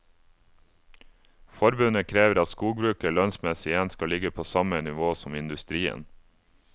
Forbundet krever at skogbruket lønnsmessig igjen skal ligge på samme nivå som industrien.